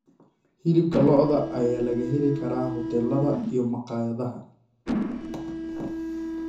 Hilibka lo'da ayaa laga heli karaa hoteelada iyo maqaayadaha.